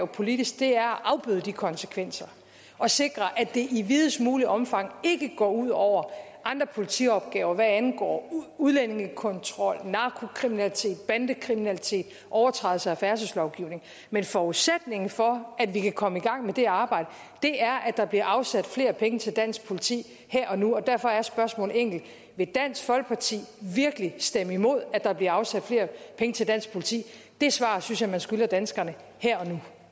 politisk er at afbøde de konsekvenser og sikre at det i videst muligt omfang ikke går ud over andre politiopgaver hvad angår udlændingekontrol narkokriminalitet bandekriminalitet og overtrædelser af færdselslovgivningen men forudsætningen for at vi kan komme i gang med det arbejde er at der bliver afsat flere penge til dansk politi her og nu derfor er spørgsmålet enkelt vil dansk folkeparti virkelig stemme imod at der bliver afsat flere penge til dansk politi det svar synes jeg man skylder danskerne her